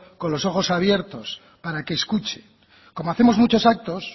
con los ojos abiertos para que escuche como hacemos muchos actos